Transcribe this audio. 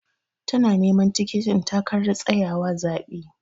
Tana neman tikitin takarar tsayawa zaɓe.